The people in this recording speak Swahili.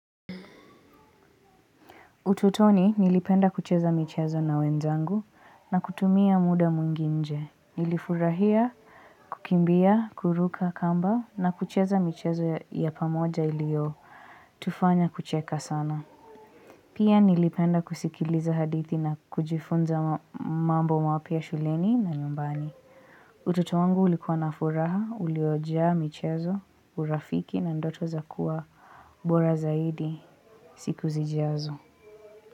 Ututoni nilipenda kucheza michezo na wenzangu na kutumia muda mwingi nje nilifurahia kukimbia kuruka kamba na kucheza michezo ya pamoja ilio tufanya kucheka sana Pia nilipenda kusikiliza hadithi na kujifunza ma mambo mapya shuleni na nyumbani utoto wangu ulikuwa nafuraha uliojaa michezo urafiki na ndoto za kuwa bora zaidi siku zijazo.